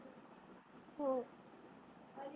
हो.